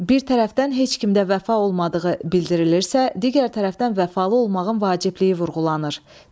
Bir tərəfdən heç kimdə vəfa olmadığı bildirilirsə, digər tərəfdən vəfalı olmağın vacibliyi vurğulanır.